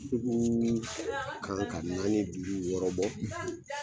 Sukuu kan ka naani, duuru, wɔɔrɔbɔ